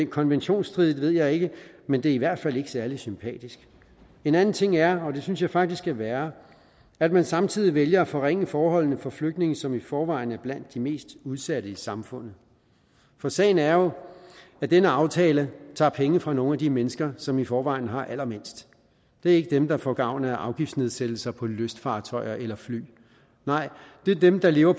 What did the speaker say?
konventionsstridigt ved jeg ikke men det er i hvert fald ikke særlig sympatisk en anden ting er og det synes jeg faktisk er værre at man samtidig vælger at forringe forholdene for flygtninge som i forvejen er blandt de mest udsatte i samfundet for sagen er jo at denne aftale tager penge fra nogle af de mennesker som i forvejen har allermindst det er ikke dem der får gavn af afgiftsnedsættelser på lystfartøjer eller fly nej det er dem der lever